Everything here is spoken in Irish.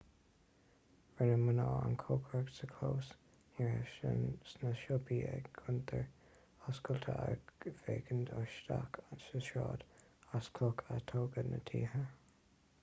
rinne mná an chócaireacht sa chlós ní raibh sna siopaí ach cuntair oscailte ag féachaint isteach sa tsráid as cloch a tógadh na tithe